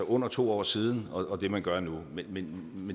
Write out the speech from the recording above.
under to år siden og så det man gør nu men